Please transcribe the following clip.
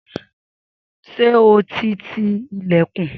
Sé o ti ti ìlẹ̀kùn.